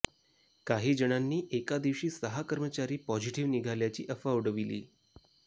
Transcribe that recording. काही जणांनी एका दिवशी सहा कर्मचारी पॉझिटिव्ह निघाल्याची अफवा उडविली